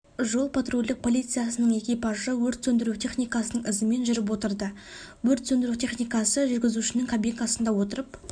жол-патрульдік полициясының экипажы өрт сөндіру техникасының ізімен жүріп отырды өрт сөндіру техникасы жүргізушінің кабинасында отырып